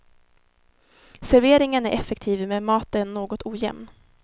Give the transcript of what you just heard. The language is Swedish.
Serveringen är effektiv men maten något ojämn.